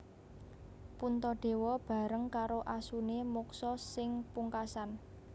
Puntadewa bareng karo asune moksa sing pungkasan